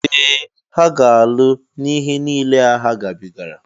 Ee! Ha ga-alụ n'ihe niile a ha gabigara.